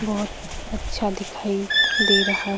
बहुत अच्छा दिखाई दे रहा --